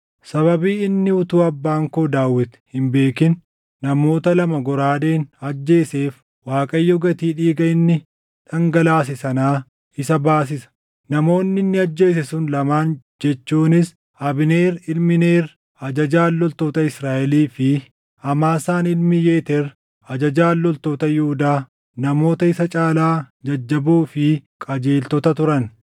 Sababii inni utuu abbaan koo Daawit hin beekin namoota lama goraadeen ajjeeseef Waaqayyo gatii dhiiga inni dhangalaase sanaa isa baasisa. Namoonni inni ajjeese sun lamaan jechuunis Abneer ilmi Neer ajajaan loltoota Israaʼelii fi Amaasaan ilmi Yeteer ajajaan loltoota Yihuudaa namoota isa caalaa jajjaboo fi qajeeltota turan.